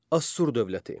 Assur dövləti.